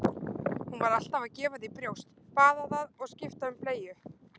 Hún var alltaf að gefa því brjóst, baða það og skipta um bleyju.